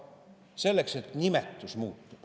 Selle tõttu, et nimetus muutub.